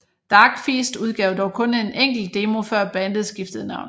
Darkfeast udgav dog kun en enkelt demo før bandet skiftede navn